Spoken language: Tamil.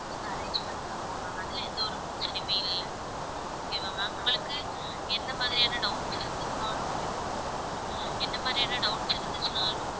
நான் arrange பண்ணித் தருவோம் ma'am அதுல எந்த ஒரு பிரச்சனையுமே இல்லை okay வா ma'am உங்களுக்கு என்ன மாதிரியான doubts இருந்துதுன்னாலும் என்ன மாதிரியான doubts இருந்துச்சுன்னாலும்